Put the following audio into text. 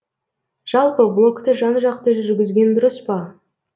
жалпы блогты жан жақты жүргізген дұрыс па